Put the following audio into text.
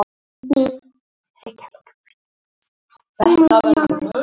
Reykjavík: Félagsmálaráðuneytið.